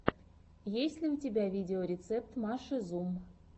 есть ли у тебя видеорецепт маши зум